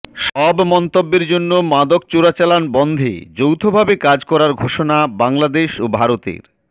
সব মন্তব্যের জন্য মাদক চোরাচালান বন্ধে যৌথভাবে কাজ করার ঘোষণা বাংলাদেশ ও ভারতের